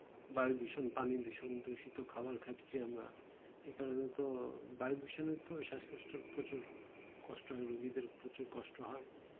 বায়ু দূষণ পানি দূষণ দূষিত খাবার খাচ্ছি আমরা এইকারণে তো বায়ু দূষণে তো শ্বাস কষ্ট প্রচুর কষ্ট হয় ই দের প্রচুর কষ্ট হয়